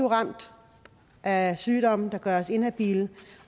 ramt af sygdom der gør os ihabile